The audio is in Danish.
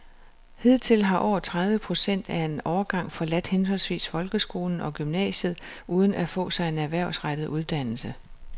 Hidtil har over tredive procent af en årgang forladt henholdsvis folkeskolen og gymnasiet uden at få sig en erhvervsrettet uddannelse.